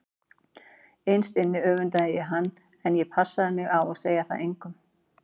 Innst inni öfundaði ég hann en ég passaði mig á að segja það engum.